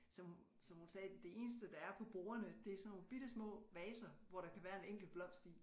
Som som hun sagde det eneste der er på bordene det er sådan nogle bittesmå vaser hvor de kan være en enkelt blomst i